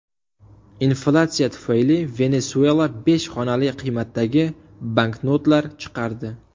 Inflyatsiya tufayli Venesuela besh xonali qiymatdagi banknotlar chiqardi.